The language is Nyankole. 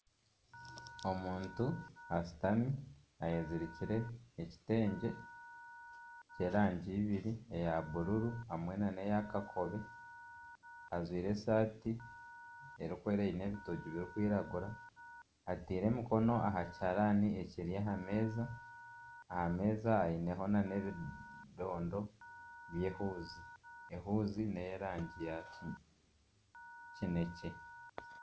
Omuntu ashutami ayezirikire ekitengye kyerangi ibiri eya bururu hamwe nana eya kakobe ajwaire esaati erikwera eine ebitogi birikwiragura ataire omukono aha kiharani ekiri aha meeza aha meeza hariho nana ebidondo by'ehuuzi ehuuzi neyerangi ya kinekye